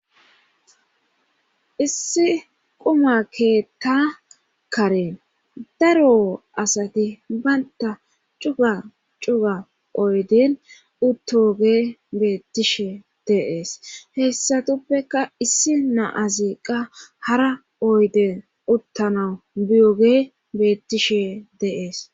issi quma keetta karen daro asati baynta cuga cuga oyden uttoge beettishe deees heessatuppeka issi na aziqqa hara oyden uttana biyoge beettishe deees